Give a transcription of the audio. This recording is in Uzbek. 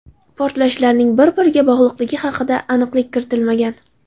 Portlashlarning bir-biriga bog‘liqligi haqida aniqlik kiritilmagan.